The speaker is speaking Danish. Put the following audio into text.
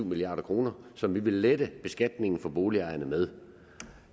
milliard kr som vi vil lette beskatningen for boligejerne med